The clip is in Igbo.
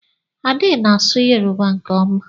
Ade na-asụ Yoruba nke ọma.